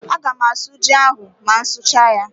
Aga m asụ ji ahụ ma m sichaa ya.